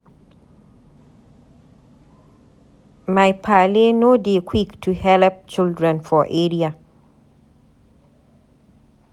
My paale no dey quik to helep children for area.